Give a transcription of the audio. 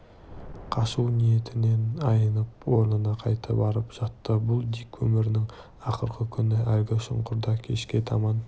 қашу ниетінен айнып орнына қайта барып жатты бұл дик өмірінің ақырғы күні әлгі шұңқырды кешке таман